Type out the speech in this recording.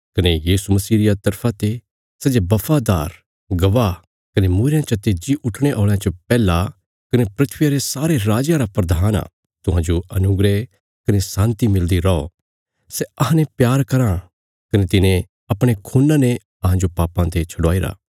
कने यीशु मसीह रिया तरफा ते सै जे बफादार गवाह कने मूईरेयां चते जी उठणे औल़यां च पैहला कने धरतिया रे सारे राजयां रा प्रधान आ तुहांजो अनुग्रह कने शान्ति मिलदी रौ सै अहांने प्यार कराँ कने तिने अपणे खून्ना ने अहांजो पापां ते छडवाईरा